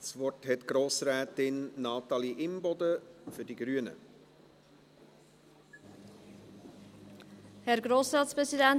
Das Wort hat Grossrätin Natalie Imboden für die Grünen.